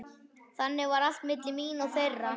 Þannig var allt milli mín og þeirra.